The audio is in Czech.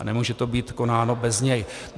A nemůže to být konáno bez něj.